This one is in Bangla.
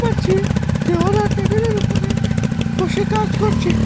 পারছি যে ওরা টেবিলের উপরে বসে কাজ করছে।